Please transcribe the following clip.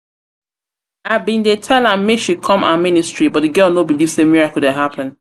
i bin dey tell am make she come our ministry but the girl no dey believe say miracle dey happen.